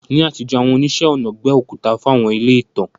Ní àtijọ́, àwọn oníṣẹ́-ọnà gbẹ́ òkúta fún àwọn ilé ìtàn.